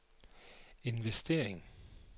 investering